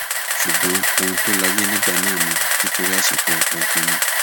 ṣùgbọn ohun tó láyé nígbà náà ni nítorí àsìkò ogun ni